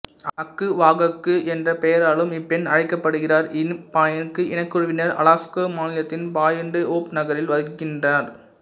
அக்குவாகாக்கு என்ற பெயராலும் இப்பெண் அழைக்கப்படுகிறார் இனுபியாக் இனக்குழுவினர் அலாசுகா மாநிலத்தின் பாயிண்ட்டு ஓப் நகரில் வசிக்கின்றனர்